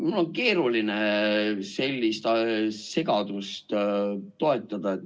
Mul on keeruline sellist segadust toetada.